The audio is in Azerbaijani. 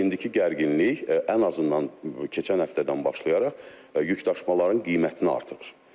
İndiki gərginlik ən azından keçən həftədən başlayaraq yükdaşımaların qiymətini artırır.